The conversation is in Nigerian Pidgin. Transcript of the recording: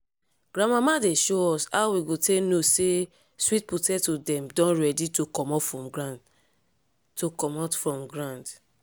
grandmama dey show us how we go take know say sweet potato dem don ready to comot from to comot from ground.